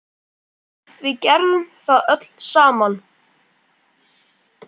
Við gerðum það öll saman.